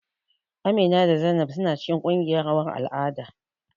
Amina da Zainab suna cikin ƙungiyan rawar al'ada.